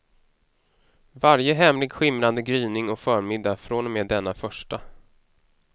Varje hemlig skimrande gryning och förmiddag från och med denna första.